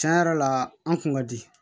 Tiɲɛ yɛrɛ la an kun ka di